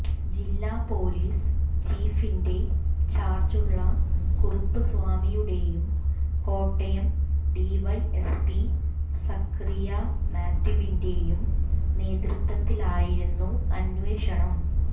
ജില്ലാ പോലീസ് ചീഫിന്റെ ചാര്ജുള്ള കറുപ്പുസ്വാമിയുടെയും കോട്ടയം ഡിവൈഎസ്പി സഖറിയ മാത്യുവിന്റെയും നേതൃത്വത്തിലായിരുന്നു അന്വേഷണം